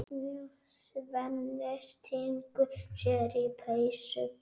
Svenni stingur sér í peysu.